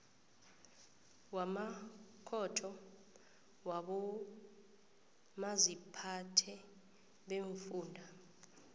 wamakhotho wabomaziphathe beemfunda